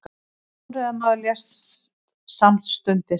Hjólreiðamaður lést samstundis